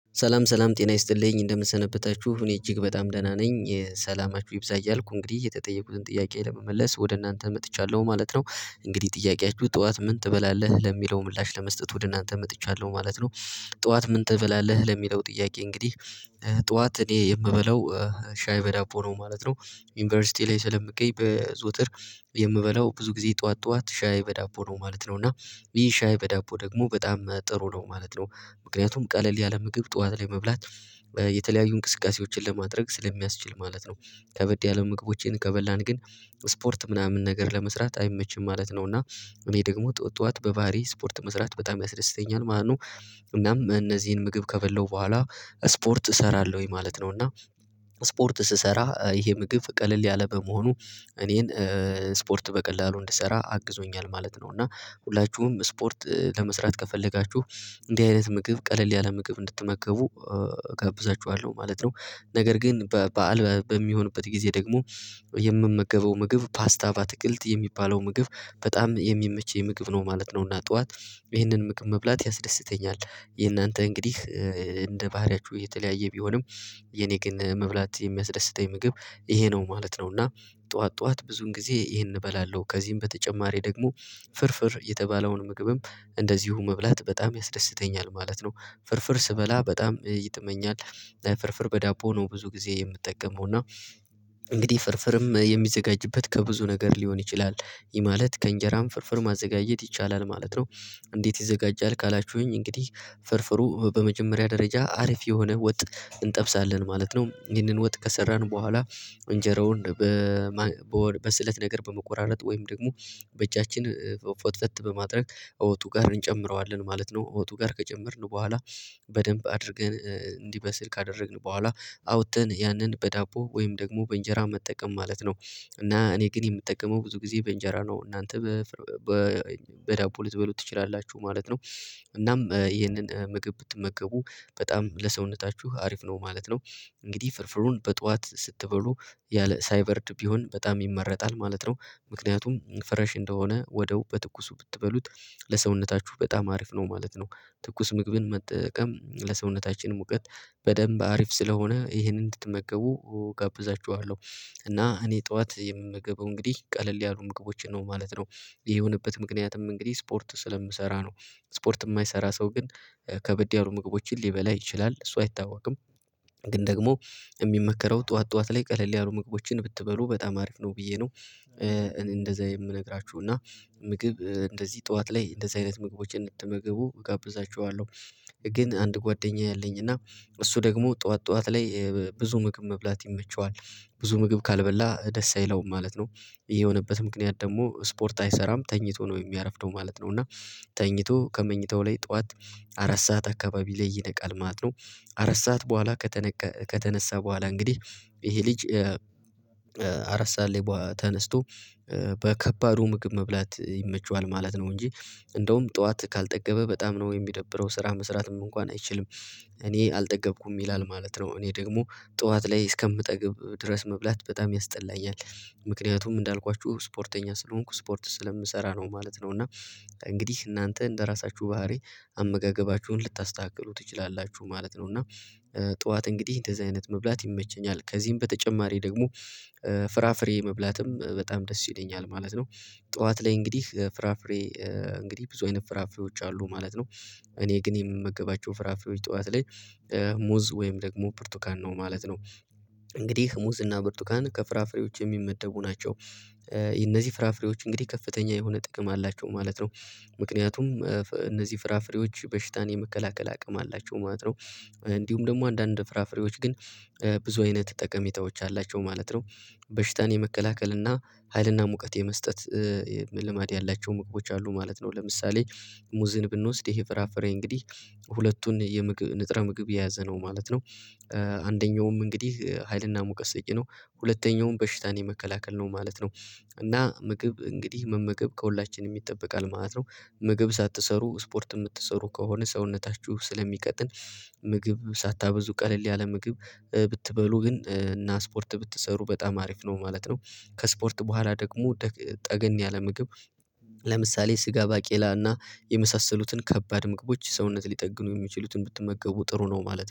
ሰላም ሰላም ጤና ይስጥልኝ እንደምንሰበታችሁ እኔ እጅግ በጣም ደህና ነኝ ሰላማችሁ ይብዛ እያልኩ እንግዲህ የተጠየቁትን ጥያቄ ለመመለስ ወደ እናንተ መጥቻለሁ ማለት ነው። እንግዲህ ጥያቄያችሁ ጠዋት ምን ትበላለህ ለሚለው ምላሽ ለመስጠት ወደ እናንተ መጥቻለሁ ማለት ነው። ጧት ምን ትበላለህ ለሚለው ጥያቄ እንግዲህ ጧት እኔ የምበላው ሻይ በዳቦ ነው ማለት ነው። ዩኒቨርሲቲ ላይ ስለምገኝ በዘጠትር። የምበላው ብዙ ጊዜ ጠዋት ጠዋት ሻይ በዳቦ ነው ማለት ነው። እና ይህሻይ በዳቦ ደግሞ በጣም ጥሩ ነው ማለት ነው። ምክንያቱም ቀለል ያለ ምግብ ጠዋት ላይ መብላት የተለያዩ እንቅስቃሴዎችን ለማድረግ ስለሚያስችል ማለት ነው። ከበድ ያለ ምግቦችን ከበላን ግን ስፖርት ምናምን ነገር ለመስራት አይመችም ማለት ነው። እና እኔ ደግሞ ጧት ጧት በባህሪየ ስፖርት መስራት በጣም ያስደስተኛል ማለት ነው። እናም እነዚህን ምግብ ከበላሁ በኋላ ስፖርት እሰራለሁኝ ማለት ነው። እና ስፖርት ስሰራ ይሄ ምግብ ቀለል ያለ በመሆኑ እኔን ስፖርት በቀላሉ እንድሰራ አግዞኛል ማለት ነው። እና ሁላችሁም ስፖርት ለመስራት ከፈለጋችሁ እንዲህ አይነት ምግብ ቀለል ያለ ምግብ እንድትመገቡ እገብዛችኋለሁ ማለት ነው። ነገር ግን በዓል በሚሆንበት ጊዜ ደግሞ የምመገበው ምግብ ፓስታ ባትክልት የሚባለው ምግብ በጣም የሚመቸኝ ምግብ ነው ማለት ነው። እና ጠዋት ይህንን ምግብ መብላት ያስደስተኛል። የእናንተ እንግዲህ እንደ ባህሪያችሁ የተለያየ ቢሆንም የኔ ግን መብላት የሚያስደስተኝ ምግብ ይሄ ነው ማለት ነው። እና ጧት ጧት ብዙን ጊዜ ይሄን እበላለሁ ከዚህም በተጨማሪ ደግሞ ፍርፍር የተባለውን ምግብም እንደዚሁ መብላት በጣም ያስደስተኛል ማለት ነው። ፍርፍር ስበላ በጣም ይጥመኛል። ፍርፍር በዳቦ ነው ብዙ ጊዜ የምጠቀመው እና እንግዲህ ፍርፍርም የሚዘጋጅበት ከብዙ ነገር ሊሆን ይችላል። ይህ ማለት ከእንጀራም ፍርፍር ማዘጋጀት ይቻላል ማለት ነው። እንዴት ይዘጋጃል? ካላችሁኝ እንግዲህ ፍርፍሩ በመጀመሪያ ደረጃ አሪፍ የሆነ ወጥ እንጠብሳለን ማለት ነው። ይህንን ወጥ ከሰራን በኋላ እንጀራውን በስለት ነገር በመቆራረጥ ወይም ደግሞ በእጃችን ፈትፈት በማድረግ እወጡ ጋር እንጨምረዋለን ማለት ነው። እወጡ ጋር ከጨመርን በኋላ በደንብ አድርገን እንዲበስል ካደረግን በኋላ አውጠተን ያንን በዳቦ ወይም ደግሞ በእንጀራ መጠቀም ማለት ነው። እና እኔ ግን የምጠቀመው ብዙ ጊዜ በእንጀራ ነው። እናንተ በ በዳቦ ልትበሉ ትችላላችሁ ማለት ነው። እናም ይሄንን ምግብ ብትመገቡ በጣም ለሰውነታችሁ አሪፍ ነው ማለት ነው። እንግዲህ ፍርፍሩን በጧት ስትበሉ ያለ ሳይበርድ ቢሆን በጣም ይመረጣል ማለት ነው። ምክንያቱም ፍሬሽ እንደሆነ ወዳው በትኩሱ ብትበሉት ለሰውነታችሁ በጣም አሪፍ ነው ማለት ነው። ትኩስ ምግብን መጠቀም ለሰውነታችን ሙቀት በደንብ አሪፍ ስለሆነ ይሄንን እንድትመገቡ እጋብዛችኋለሁ። እና እኔ ጠዋት የምመገበው እንግዲህ ቀለል ያሉ ምግቦችን ነው ማለት ነው። ይሄ የሆነበት ምክንያትም እንግዲህ ስፖርት ስለምሰራ ነው። ስፖርት የማይሰራ ሰው ግን ከበድ ያሉ ምግቦችን ሊበላ ይችላል እሱ አይታወቅም። ግን ደግሞ የሚመከረው ጧት ጧት ላይ ቀለል ያሉ ምግቦችን ብትበሉ በጣም አሪፍ ነው ብዬ ነው። እኔ እንደዛ የምነግራችሁ እና ምግብ እንደዚህ ጧት ላይ እንደዚህ አይነት ምግቦችን እንድትመገቡ እጋብዛችኋለሁ። ግን አንድ ጓደኛዬ አለኝ። እና እሱ ደግሞ ጧት ጧት ላይ ብዙ ምግብ መብላት ይመቸዋል። ብዙ ምግብ ካልበላ ደስ አይለውም ማለት ነው። የሆነበት ምክንያት ደግሞ ስፖርት አይሰራም ተኝቶ ነው የሚያረፍደው ማለት ነው። እና ተኝቶ ከመኝታው ላይ ጧት አራት ሰዓት አካባቢ ላይ ይነቃል ማለት ነው። አራት ሰዓት በኋላ ከተነሳ በኋላ እንግዲህ ይሄ ልጅ አራት ሰዓት ላይ ተነስቶ በከባዱ ምግብ መብላት ይመቸዋል ማለት ነው። እንጂ እንደውም ጠዋት ካልጠገበ በጣም ነው የሚደብረው ስራ መስራትም እንኳን አይችልም። እኔ አልጠገብኩም ይላል ማለት ነው። እኔ ደግሞ ጠዋት ላይ እስከምጠግብ ድረስ መብላት በጣም ያስጠላኛል። ምክንያቱም እንዳልኳችሁ ስፖርተኛ ስለሆንኩ ስፖርት ስለምሰራ ነው ማለት ነው። እና እንግዲህ እናንተ እንደራሳችሁ ባህሪ አመጋገባችሁን ልታስተካክሉ ትችላላችሁ ማለት ነው። እና ጠዋት እንግዲህ እንደዚህ አይነት መብላት ይመቸኛል። ከዚህም በተጨማሪ ደግሞ ፍራፍሬ መብላትም በጣም ደስ ይለኛል ማለት ነው። ጠዋት ላይ እንግዲህ ፍራፍሬ እንግዲህ ብዙ አይነት ፍራፍሬዎች አሉ ማለት ነው። እኔ ግን የምመገባቸው ፍራፍሬዎች ጧት ላይ ሙዝ ወይም ደግሞ ብርቱካን ነው ማለት ነው። እንግዲህ ሙዝ እና ብርቱካን ከፍራፍሬዎች የሚመደቡ ናቸው። እነዚህ ፍራፍሬዎች እንግዲህ ከፍተኛ የሆነ ጥቅም አላቸው ማለት ነው። ምክንያቱም እነዚህ ፍራፍሬዎች በሽታን የመከላከል አቅም አላቸው ማለት ነው። እንዲሁም ደግሞ አንዳንድ ፍራፍሬዎች ግን ብዙ አይነት ጠቀሜታዎች አላቸው ማለት ነው። በሽታን የመከላከል እና ሀይልና ሙቀት የመስጠት ልማድ ያላቸው ምግቦች አሉ ማለት ነው። ለምሳሌ ሙዝን ብንወስድ ይሄ ፍራፍሬ እንግዲህ ሁለቱን የምግብ ንጥረ ምግብ የያዘ ነው ማለት ነው። አንደኛውም እንግዲህ ሀይልና ሙቀስ ሰጭ ነው። ሁለተኛውን በሽታን የመከላከል ነው ማለት ነው። እና ምግብ እንግዲህ መመገብ ከሁላችንም ይጠበቃል ማለት ነው። ምግብ ሳትሰሩ ስፖርት የምትሰሩ ከሆነ ሰውነታችሁ ስለሚቀጥን ምግብ ሳታበዙ ቀለል ያለ ምግብ ብትበሉ ግን እና ስፖርት ብትሰሩ በጣም አሪፍ ነው ማለት ነው። ከስፖርት በኋላ ደግሞ ጠገን ያለ ምግብ ለምሳሌ ስጋ ባቄላና የመሳሰሉትን ከባድ ምግቦች ሰውነት ሊጠግኑ የሚችሉትን ብትመገቡ ጥሩ ነው ማለት ነው